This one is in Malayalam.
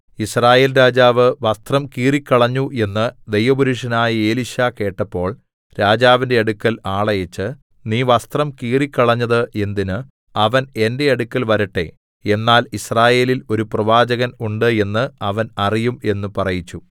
യിസ്രായേൽ രാജാവ് വസ്ത്രം കീറിക്കളഞ്ഞു എന്ന് ദൈവപുരുഷനായ എലീശാ കേട്ടപ്പോൾ രാജാവിന്റെ അടുക്കൽ ആളയച്ച് നീ വസ്ത്രം കീറിക്കളഞ്ഞത് എന്തിന് അവൻ എന്റെ അടുക്കൽ വരട്ടെ എന്നാൽ യിസ്രായേലിൽ ഒരു പ്രവാചകൻ ഉണ്ട് എന്ന് അവൻ അറിയും എന്ന് പറയിച്ചു